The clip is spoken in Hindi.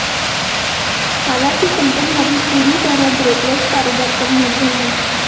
हालांकि कंपनी अभी पूरी तरह ब्रोकरेज कारोबार पर निर्भर है